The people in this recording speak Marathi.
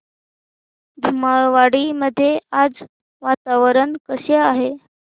धुमाळवाडी मध्ये आज वातावरण कसे आहे